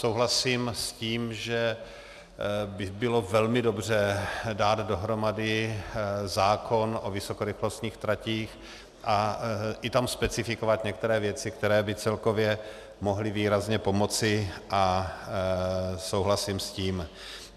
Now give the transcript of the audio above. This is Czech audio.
Souhlasím s tím, že by bylo velmi dobře dát dohromady zákon o vysokorychlostních tratích a i tam specifikovat některé věci, které by celkově mohly výrazně pomoci, a souhlasím s tím.